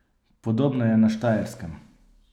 Podobno je na Štajerskem.